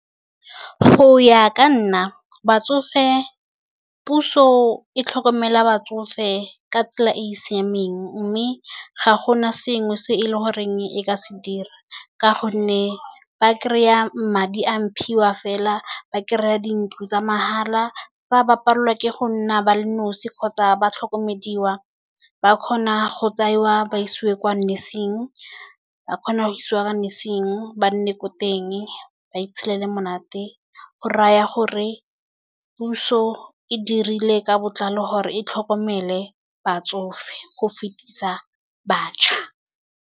Go ya ka nna puso e tlhokomela batsofe ka tsela e e siameng, mme ga gona sengwe se e le goreng e ka se dira. Ka gonne ba kry-a madi a mphiwa, fela ba kry-a dintlo tsa mahala, fa ba palelwa ke go nna ba le nosi kgotsa ba tlhokomediwa, ba kgona go tsewa ba isiwe kwa nursing, ba kgona go isiwa kwa nursing, ba nne ko teng ba itshelela monate. Go raya gore puso e dirile ka botlalo gore e tlhokomele batsofe go fetisa bašwa.